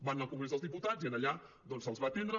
van anar al congrés dels diputats i allà doncs se’ls va atendre